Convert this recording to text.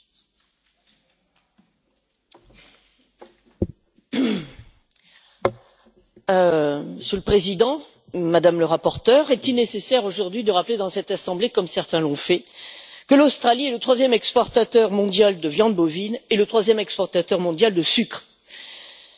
Monsieur le Président, Madame le rapporteur, est il nécessaire, aujourd'hui, de rappeler au sein de cette assemblée, comme certains l'ont fait, que l'Australie est le troisième exportateur mondial de viande bovine et le troisième exportateur mondial de sucre, qu'elle est en position dominante dans le secteur du lait et des céréales, et un colosse mondial sur le plan de l'exportation de produits agricoles?